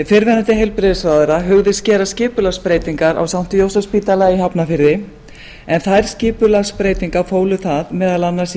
fyrrverandi heilbrigðisráðherra hugðist gera skipulagsbreytingar á sankti jósefsspítala í hafnarfirði en þær skipulagsbreytingar fólu það meðal annars í